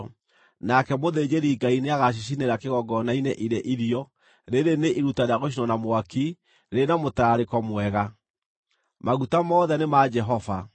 Nake mũthĩnjĩri-Ngai nĩagacicinĩra kĩgongona-inĩ irĩ irio, rĩĩrĩ nĩ iruta rĩa gũcinwo na mwaki, rĩrĩ na mũtararĩko mwega. Maguta mothe nĩ ma Jehova.